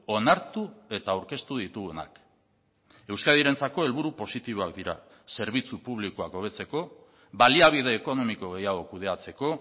onartu eta aurkeztu ditugunak euskadirentzako helburu positiboak dira zerbitzu publikoak hobetzeko baliabide ekonomiko gehiago kudeatzeko